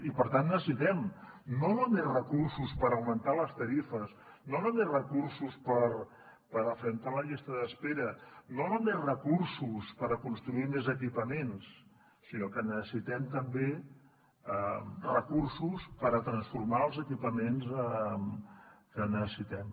i per tant necessitem no només recursos per augmentar les tarifes no només recursos per afrontar la llista d’espera no només recursos per construir més equipaments sinó que necessitem també recursos per transformar els equipaments que neces sitem